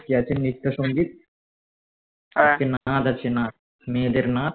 আজকে আছে নৃত্য সংগীত আজকে নাচ আছে নাচ মেয়েদের নাচ